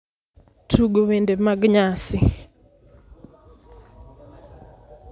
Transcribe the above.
tugo wende mag nyasi